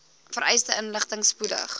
vereiste inligting spoedig